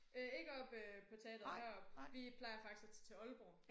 Øh ikke oppe øh på teatret heroppe vi plejer faktisk at tage til Aalborg